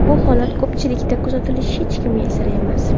Bu holat ko‘pchilikda kuzatilishi hech kimga sir emas.